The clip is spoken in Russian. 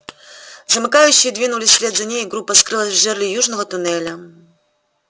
замыкающие двинулись вслед за ней и группа скрылась в жерле южного туннеля